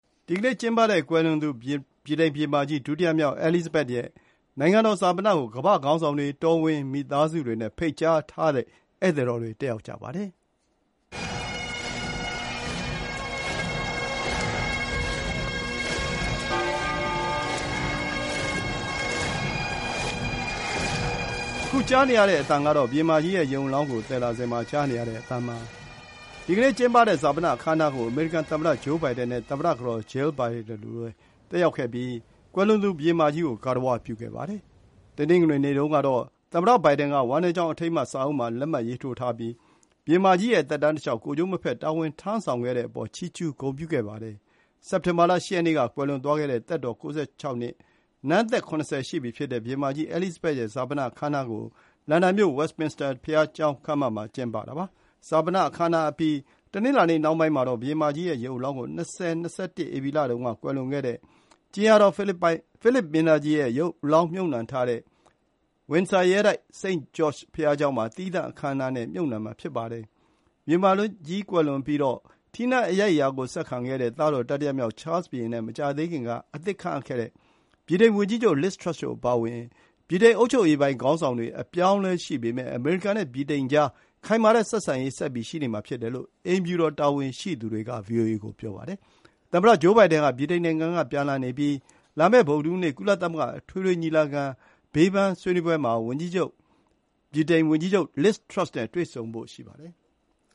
ဒီကနေ့ ကျင်းပတဲ့ ကွယ်လွန်သူ ဗြိတိန်ဘုရင်မကြီး ဒုတိယမြောက် အဲလစ်ဇဘက် ရဲ့ နိုင်ငံတော် ဈာပနကို ကမ္ဘာ့ခေါင်းဆောင်တွေ၊ တော်ဝင်မိသားစုတွေနဲ့ ဖိတ်ကြားထားတဲ့ ဧည့်သည်တော်တွေတက်ရောက်ကြပါတယ်။ ဒီကနေ့ ကျင်းပတဲ့ ဈာပန အခမ်းအနားကို အမေရိကန်သမ္မတ Joe Biden နဲ့ သမ္မတကတော် Jill Biden တို့လည်း တက်ရောက်ပြီး ကွယ်လွန်သူ ဘုရင်မကြီး ကို ဂါရဝပြုပါတယ်။ ဈာပန အခမ်းအနားတက်ရောက်ဖို့ လန်ဒန်ကို သမ္မတ Joe Biden စနေနေ့နှောင်းပိုင်းက ရောက်လာတာပါ။ တနင်္ဂနွေနေ့တုန်းက သမ္မတ Biden က ဝမ်းနည်းကြောင်းအထိမ်းအမှတ်စာအုပ်မှာ လက်မှတ်ရေးထိုးပြီး ဘုရင်မကြီးရဲ့ သက်တမ်းတလျှောက် ကိုယ်ကျိုးမဖက် တာဝန်ထမ်းဆောင်ခဲ့တဲ့ အပေါ် ချီးကျူးဂုဏ်ပြုခဲ့ပါတယ်။ စက်တင်ဘာ ၈ ရက်နေ့က ကွယ်လွန်သွားခဲ့တဲ့ သက်တော် ၉၆ နှစ်၊ နန်းသက် ၇၀ ရှိပြီဖြစ်တဲ့ ဘုရင်မကြီး အဲလစ်ဇဘက် ရဲ့ ဈာပန အခမ်းအနားကို လန်ဒန်မြို့၊ ဝက်စ်မင်စတာ ဘုရားကျောင်းခန်းမမှာ ကျင်းပတာပါ။ ဈာပနအခမ်းအနားအပြီး တနင်္လာနေ့နှောင်းပိုင်းမှာတော့ ဘုရင်မကြီးရဲ့ ရုပ်အလောင်းကို ၂၀၂၁ ဧပြီလတုန်းက ကွယ်လွန်ခဲ့တဲ့ ကြင်ယာတော် ဖိလစ်မင်းသားကြီးရဲ့ ရုပ်အလောင်းမြှုပ်နှံထားတဲ့ Windsor ရဲတိုက်၊ စိန့်ဂျော့ခ်ျဘုရားကျောင်းမှာ သီးသန့် အခမ်းအနားနဲ့ မြှုပ်နှံမှာ ဖြစ်ပါတယ်။ ဘုရင်မကြီးကွယ်လွန်ပြီးတော့ ထီးနန်းအရိုက်အရာကို ဆက်ခံခဲ့တဲ့ သားတော် တတိယမြောက် Charles ဘုရင်နဲ့ မကြာသေးခင်က အသစ်ခန့်အပ်ခဲ့တဲ့ ဗြိတိန် ဝန်ကြီးချုုပ် Liz Truss တို့အပါအဝင် ဗြိတိန် အုပ်ချုပ်ရေးပိုင်း ခေါင်းဆောင်တွေ အပြောင်းအလဲရှိပေမဲ့ အမေရိကန်နဲ့ ဗြိတိန် ကြား ခိုင်မာတဲ့ ဆက်ဆံရေး ဆက်ပြီးရှိနေမှာဖြစ်တယ်လို့ အိမ်ဖြူတော် တာဝန်ရှိသူတွေက VOA ကိုပြောပါတယ်။ သမ္မတ Joe Biden ဟာ လာမယ့် ဗုဒ္ဓဟူးနေ့ ကုလသမဂ္ဂ အထွေထွေညီလာခံ ဘေးဘန်းမှာ ဗြိတိန်ဝန်ကြီးချုပ် Liz Truss နဲ့ တွေ့ဆုံဖို့ ရှိပါတယ်။